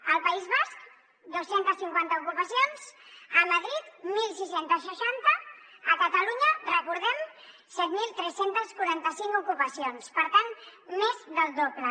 al país basc dos cents i cinquanta ocupacions a madrid setze seixanta a catalunya recordemho set mil tres cents i quaranta cinc ocupacions per tant més del doble